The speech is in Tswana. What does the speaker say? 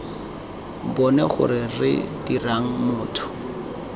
bone gore re dirang motho